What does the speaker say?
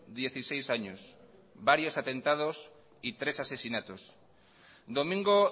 dieciséis años varios atentados y tres asesinatos domingo